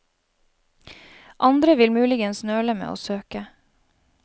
Andre vil muligens nøle med å søke.